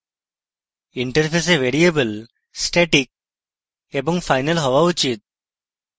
interface variable static এবং final হওয়া উচিত